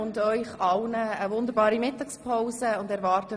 Anwesend sind 148 Mitglieder.